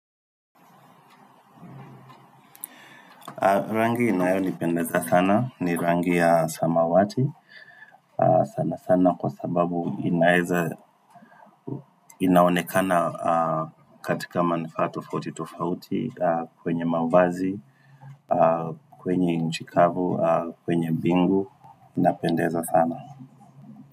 Rangi inayonipendeza sana, ni rangi ya samawati, sana sana kwa sababu inaeza inaonekana katika manufaa tofauti tofauti kwenye mawazi, kwenye nchi kavu, kwenye bingu, inapendeza sana.